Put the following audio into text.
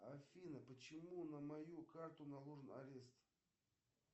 афина почему на мою карту наложен арест